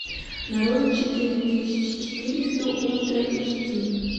нарой четыре тысячи четыреста ультра эйч ди